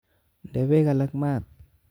Nde beek alak mat